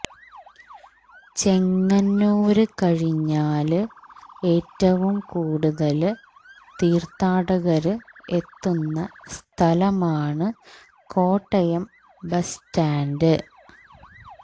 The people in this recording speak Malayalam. ചെങ്ങന്നൂര് കഴിഞ്ഞാല് ഏറ്റവും കൂടുതല് തീര്ത്ഥാടകര് എത്തുന്ന സ്ഥലമാണ് കോട്ടയം ബസ് സ്റ്റാന്റ്